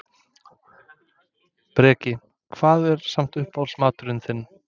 Breki: Hvað er samt uppáhalds maturinn þinn?